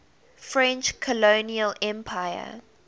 french colonial empire